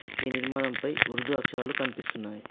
ఈ నిర్మాణంపై ఉర్దూ అక్షరాలు కనిపిస్తున్నాయ్.